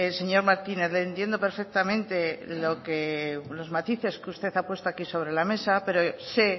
señor martínez le entiendo perfectamente los matices que usted ha puesto aquí sobre la mesa pero sé